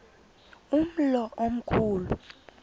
umlo omkhu lu